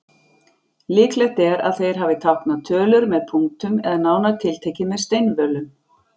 Líklegt er að þeir hafi táknað tölur með punktum eða nánar tiltekið með steinvölum.